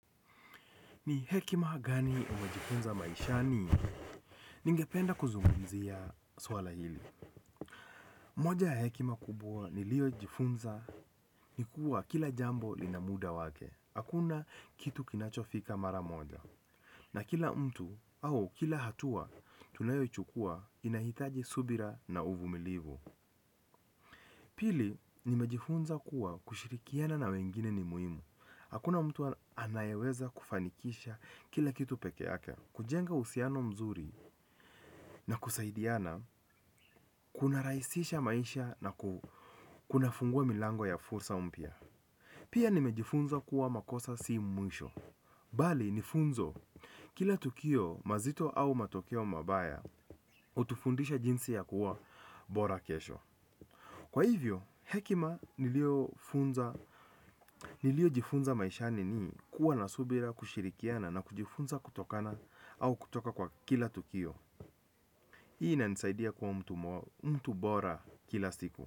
Ni hekima gani umejifunza maishani? Ningependa kuzungumzia swala hili. Moja ya hekima kubwa ni lio jifunza ni kuwa kila jambo linamuda wake. Hakuna kitu kinachofika mara moja. Na kila mtu au kila hatua tunayo chukua inahitaji subira na uvumilivu. Pili ni mejifunza kuwa kushirikiana na wengine ni muhimu. Hakuna mtu anayeweza kufanikisha kila kitu peke yake. Kujenga uhusiano mzuri na kusaidiana kuna rahisisha maisha na kuna fungua milango ya fursa mpya. Pia nimejifunza kuwa makosa si mwisho. Bali nifunzo kila tukio mazito au matokeo mabaya hutufundisha jinsi ya kuwa bora kesho. Kwa hivyo, hekima niliyofunza nilio jifunza maishani ni kuwa nasubira kushirikiana na kujifunza kutokana au kutoka kwa kila tukio. Hii inanisaidia kuwa mtu mtu bora kila siku.